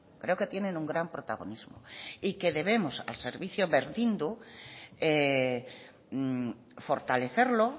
creo que tienen un gran protagonismo y que debemos al servicio berdindu fortalecerlo